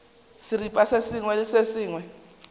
seripa se sengwe le se